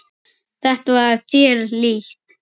Þetta var þér líkt.